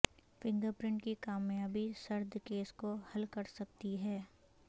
finger print کی کامیابی سرد کیس کو حل کر سکتی ہے